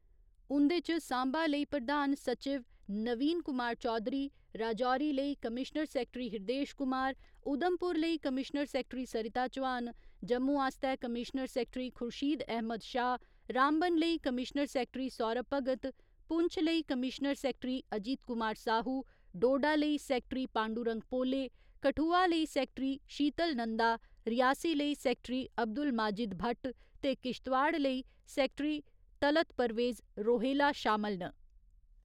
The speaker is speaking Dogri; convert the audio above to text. उं'दे च साम्बा लेई प्रधान सचिव नवीन कुमार चौधरी, राजौरी लेई कमीश्नर सैक्टरी हृिदेश कुमार, उधमपुर लेई कमीश्नर सैक्टरी सरिता चौहान, जम्मू आस्तै कमीश्नर सैक्टरी खुर्शीद अहमद शाह, रामबन लेई कमीश्नर सैक्टरी सौरभ भगत, पुंछ लेई कमीश्नर सैक्टरी अजीत कुमार साहू, डोडा लेई सैक्टरी पांडूरंग पोले, कठुआ लेई सैक्टरी शीतल नन्दा, रियासी लेई सैक्टरी अब्दुल माजिद भट्ट ते किश्तवाड़ लेई सैक्टरी तलत परवेज रोहेला शामल न।